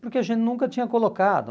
Porque a gente nunca tinha colocado.